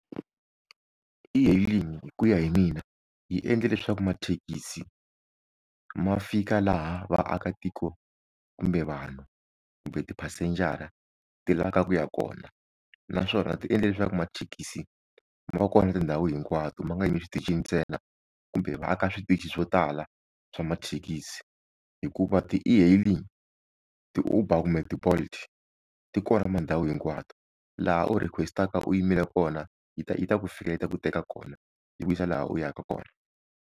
E-hailing hi ku ya hi mina yi endle leswaku mathekisi ma fika laha vaakatiko kumbe vanhu kumbe tiphasenjara ti lavaka ku ya kona naswona ti endle leswaku mathekisi ma va kona tindhawu hinkwato ma nga yimi switichini ntsena kumbe va aka switichi swo tala swa mathekisi hikuva ti-E-hailing ti-Uber kumbe ti-Bolt ti kona mandhawu hinkwato laha u request-aka u yimile kona yi ta yi ta ku fikele yi ta ku teka kona yi ku yisa laha u yaka kona.